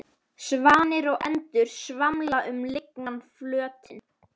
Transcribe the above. Svanir og endur svamla um lygnan flötinn.